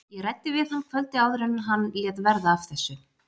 Ég. ræddi við hann kvöldið áður en hann. lét verða af þessu.